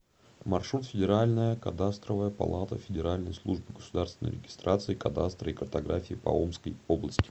маршрут федеральная кадастровая палата федеральной службы государственной регистрации кадастра и картографии по омской области